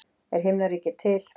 Er himnaríki til?